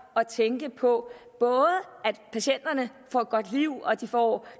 at tænke på at patienterne får et godt liv og får